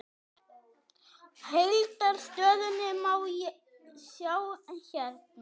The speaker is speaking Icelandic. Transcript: Heildar stöðuna má sjá hérna.